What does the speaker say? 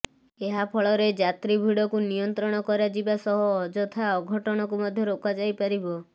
ଏହା ଫଳରେ ଯାତ୍ରୀ ଭିଡ଼କୁ ନିୟନ୍ତ୍ରଣ କରାଯିବା ସହ ଅଯଥା ଅଘଟଣକୁ ମଧ୍ୟ ରୋକା ଯାଇପାରିବ